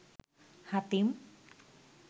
Hatim